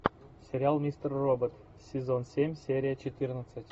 сериал мистер робот сезон семь серия четырнадцать